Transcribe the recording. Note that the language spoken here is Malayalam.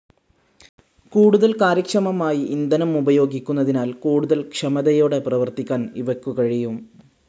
കൂടുതൽ കാര്യക്ഷമമായി, ഇന്ധനം ഉപയോഗിക്കുന്നതിനാൽ കൂടുതൽ ക്ഷമതയോടെ പ്രവർത്തിക്കാൻ ഇവയ്ക്കു കഴിയും.